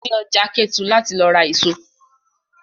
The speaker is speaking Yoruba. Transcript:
Lọ sí ọjà Kétu láti lọ ra èso!